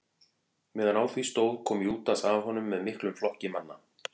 meðan á því stóð kom júdas að honum með miklum flokki manna